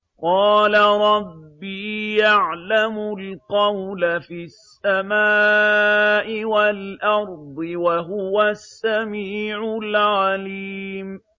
قَالَ رَبِّي يَعْلَمُ الْقَوْلَ فِي السَّمَاءِ وَالْأَرْضِ ۖ وَهُوَ السَّمِيعُ الْعَلِيمُ